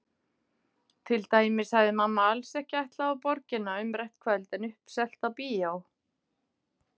Til dæmis hafði mamma alls ekki ætlað á Borgina umrætt kvöld en uppselt á bíó.